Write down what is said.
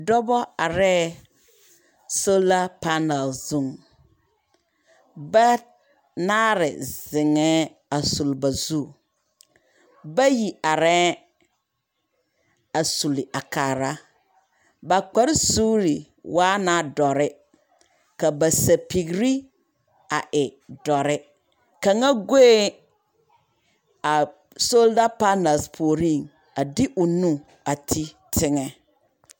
Dɔbɔ arɛɛ, sola panal zuŋ. Bat naare zeŋɛɛ a suli ba zu. Bayi arɛɛŋ a suli a kaara. Ba kparesuuri waa na dɔre, ka ba sapigiri a e dɔre, kaŋa goeŋ solda panal puoriŋ, a de o nu a ti teŋɛ.